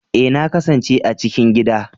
Ee, na kasance a cikin gida